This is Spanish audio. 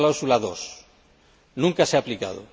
La cláusula 2 nunca se ha aplicado.